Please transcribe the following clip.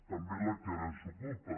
també la que ara ens ocupa